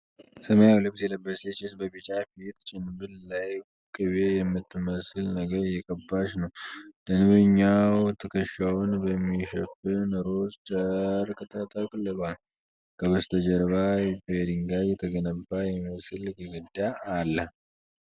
ሰማያዊ ልብስ የለበሰች ሴት በቢጫ የፊት ጭንብል ላይ ቅቤ የምትመስል ነገር እየቀባች ነው። ደንበኛው ትከሻውን በሚሸፍን ሮዝ ጨርቅ ተጠቅልሏል። ከበስተጀርባ በድንጋይ የተገነባ የሚመስል ግድግዳ አለ።